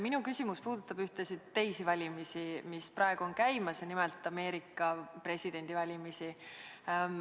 Minu küsimus puudutab ühtesid teisi valimisi, mis praegu on käimas, nimelt Ameerika presidendivalimisi.